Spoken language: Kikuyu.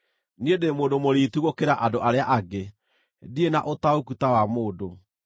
“Niĩ ndĩ mũndũ mũriitu gũkĩra andũ arĩa angĩ; ndirĩ na ũtaũku ta wa mũndũ.